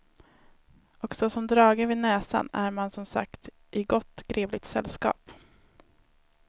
Och såsom dragen vid näsan är man som sagt i gott grevligt sällskap.